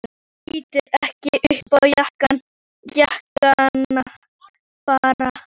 Hann lítur ekki upp, jánkar bara.